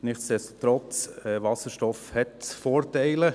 Nichtsdestotrotz hat Wasserstoff Vorteile.